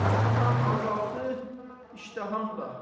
Öskürməyim azaldı, iştaham da.